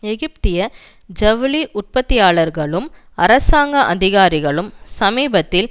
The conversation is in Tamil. எகிப்திய ஜவுளி உற்பத்தியாளர்களும் அரசாங்க அதிகாரிகளும் சமீபத்தில்